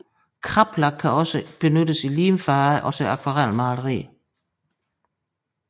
Kraplak kan også benyttes i limfarve og til akvarelmaleri